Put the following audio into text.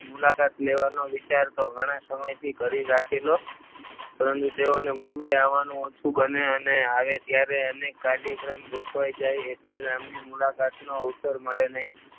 મુલાકાત લેવાનું વિચાર તો ઘણા સમયથી કરી રાખેલો પરંતુ તેઓને મુંબઈ આવવાનું ઓછું બને અને આવે ત્યારે કાર્યક્રમ ગોઠવાઈ જાય એટલે આમને મુલાકાત નો અવસર મળી નહીં.